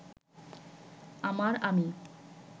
আমার আমি